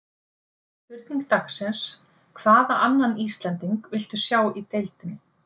Spurning dagsins: Hvaða annan Íslending viltu sjá í deildinni?